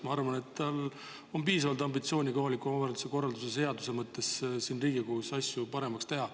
Ma arvan, et tal on piisavalt ambitsiooni kohaliku omavalitsuse korralduse seadust siin Riigikogus paremaks teha.